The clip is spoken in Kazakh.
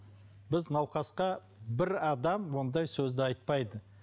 біз науқасқа бір адам ондай сөзді айтпайды